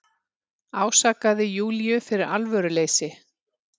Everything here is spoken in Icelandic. Ásakaði Júlíu fyrir alvöruleysi.